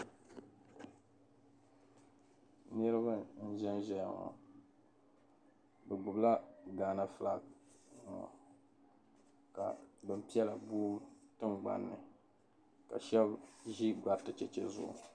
Niriba n-ʒen ʒeya ŋɔ be gbubi la Ghana "flag" ka bin piɛla boi tiŋgbanni ka shɛba ʒi gbariti cheche zuɣu.